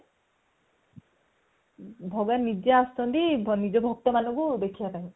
ଭଗବାନ ନିଜେ ଆସିଛନ୍ତି ନିଜ ଭକ୍ତ ମାନଙ୍କୁ ଦେଖିବା ପାଇଁ